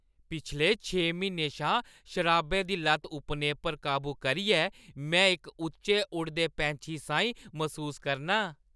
पिछले छे म्हीनें शा शराबै दी लत्त उप्नेपर काबू करियै में इक उच्चे उडदे पैंछी साहीं मसूस करनां ।